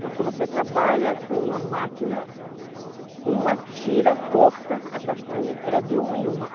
Porque você trabalha com uma máquina, uma tira, corta a castanha, era de uma em uma.